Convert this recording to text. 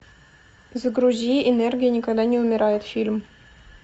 загрузи энергия никогда не умирает фильм